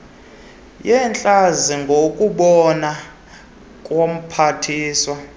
yeentlanzi ngokubona komphathiswa